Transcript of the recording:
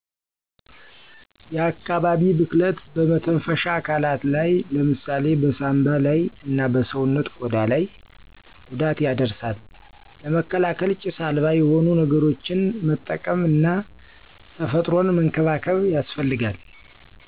የአካባቢ ብክለት በመተንፈሻ አካላት ላይ ለምሳሌ በሳምባ ላይ እና በሰዉነት ቆዳ ላይ ጉዳት ያደርሳል ለመከላከል ጭስ አልባ የሆኑ ነገሮችን መጠቀም እና ተፈጥሮን መንከባከብ ያስፈልጋል።